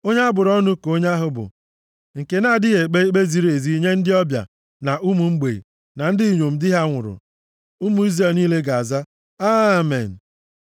“Onye a bụrụ ọnụ ka onye ahụ bụ nke na-adịghị ekpe ikpe ziri ezi nye ndị ọbịa, na ụmụ mgbei, na ndị inyom di ha nwụrụ.” Ụmụ Izrel niile ga-aza, “Amen.”